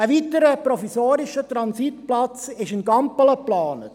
Ein weiterer provisorischer Transitplatz ist in Gampelen geplant.